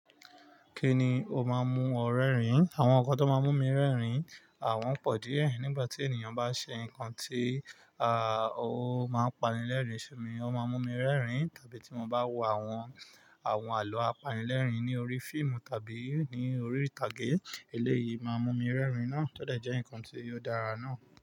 Kíni ó máa ń mú ọ rẹ́rìn-ín? Àwọn nǹkan tó máa ń mú mi rẹ́rìn-ín, wọ́n pọ̀ díẹ̀. Nígbà tí ènìyàn bá ṣe nǹkan tí, ó máa ń pani lẹ́rìn-ín sími, ó máa ń mú mi rẹ́rìn-ín. Tàbí tí mo bá wo àwọn, àwọn àlọ́ apanilẹ́rìn-ín ní orí fíìmù tàbí ní orí ìtàgé, eléyìí máa ń mú mi rẹ́rìn ná. Tó dẹ̀ jẹ́ nǹkan tí ó dára náà.